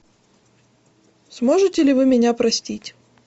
сможете ли вы меня простить